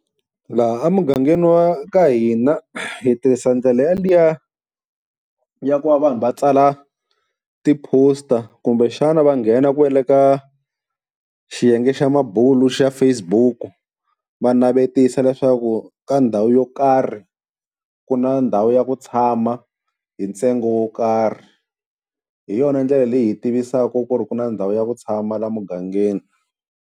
Laha a mugangeni wa ka hina hi tirhisa ndlela yaliya ya ku va vanhu va tsala ti-poster, kumbexana va nghena kwale ka xiyenge xa mabulo xa Facebook va navetisa leswaku ka ndhawu yo karhi ku na ndhawu ya ku tshama hi ntsengo wo karhi, hi yona ndlela leyi hi tivisaka ku ri ku na ndhawu ya ku tshama laha mugangeni.